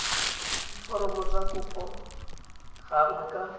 diforomo tsa kopo gangwe ka